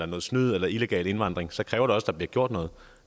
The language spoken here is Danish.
noget snyd eller illegal indvandring så kræver det også at der bliver gjort noget